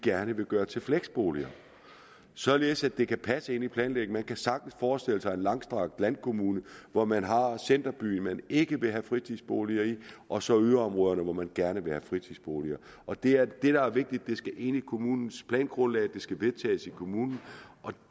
gerne vil gøre til fleksboliger således at det kan passe ind i planlægningen man kan sagtens forestille sig en langstrakt landkommune hvor man har en centerby som man ikke vil have fritidsboliger i og så yderområderne hvor man gerne vil have fritidsboliger og det er det der er vigtigt nemlig at det skal ind kommunens plangrundlag det skal vedtages i kommunen og